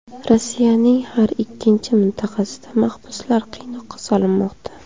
Rossiyaning har ikkinchi mintaqasida mahbuslar qiynoqqa solinmoqda.